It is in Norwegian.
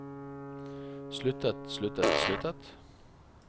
sluttet sluttet sluttet